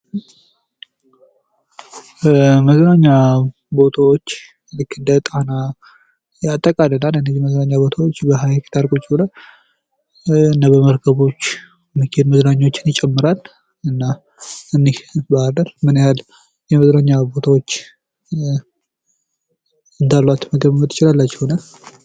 መዝናኛ ቦቻዎች ልክ እንደጣና ያጠቃልላል። እነዚህ መዝናኛ ቦታዎች በሀይቅ ዳር ቁጭ ብለን እና በመርከቦች እሚከድ መዝናኛዎችን ይጨምራል። እና እኒህ ባህርዳር ምን ያህል የመዝናኛ ቦቻዎች እንዳሏት መገመት ትችላላችሁ?